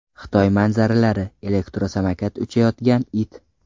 Xitoy manzaralari: Elektrosamokat uchayotgan it .